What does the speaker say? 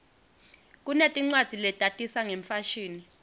kunetincwadzi letatisa ngemfashini